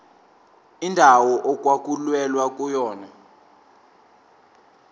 indawo okwakulwelwa kuyona